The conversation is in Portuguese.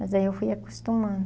Mas aí eu fui acostumando.